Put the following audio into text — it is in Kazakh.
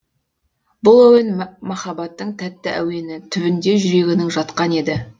бұл әуен махаббаттың тәтті әуені түбінде жүрегінің жатқан еді